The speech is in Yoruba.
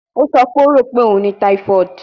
O sọ pe o ro pe o ni typhoid